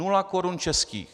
Nula korun českých.